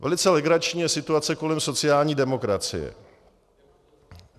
Velice legrační je situace kolem sociální demokracie.